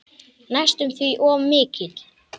Næstum því of mikill.